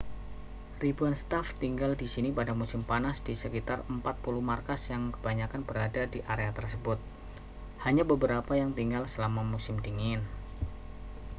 ribuan staf tinggal di sini pada musim panas di sekitar 4 puluh markas yang kebanyakan berada di area tersebut hanya beberapa yang tinggal selama musim dingin